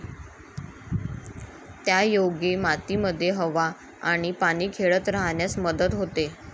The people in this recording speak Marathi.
त्यायोगे मातीमध्ये हवा आणि पाणी खेळते राहण्यास मदत होते.